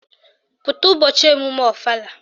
Pụta ụbọchị emume ọfala!